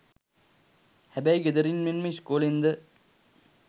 හැබැයි ගෙදරින් මෙන්ම ඉස්කෝලෙන්ද